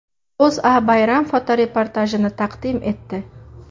O‘zA bayram fotoreportajini taqdim etdi .